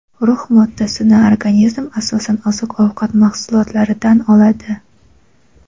Rux moddasini organizm asosan oziq-ovqat mahsulotlaridan oladi.